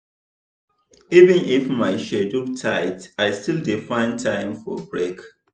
even if my schedule tight i still dey find time for break.